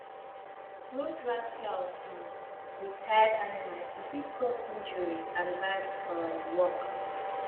no drag plow um with tired animal e fit cause injury and bad um work